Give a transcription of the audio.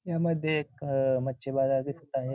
यामध्ये एक अह मच्छी बाजार दिसत आहे.